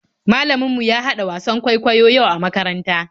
Malamin mu ya haɗa wasan kwaikwayo yau a makaranta.